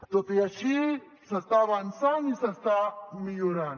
tot i així s’està avançant i s’està millorant